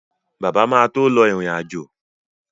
Bàbá máa tó lọ ìrìn-àjò